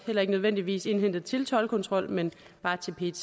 heller ikke nødvendigvis indhentet til toldkontrol men bare til pet